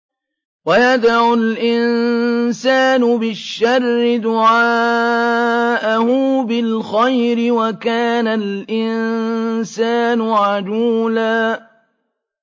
وَيَدْعُ الْإِنسَانُ بِالشَّرِّ دُعَاءَهُ بِالْخَيْرِ ۖ وَكَانَ الْإِنسَانُ عَجُولًا